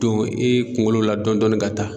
don i kunkolo la dɔɔni dɔɔni ka taa.